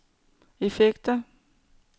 effekter